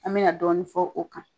An me na dɔɔni fɔ o kan.